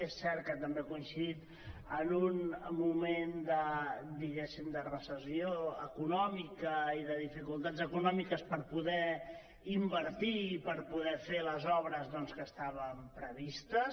és cert que també ha coincidit en un moment diguéssim de recessió econòmica i de dificultats econòmiques per poder invertir i per poder fer les obres que estaven previstes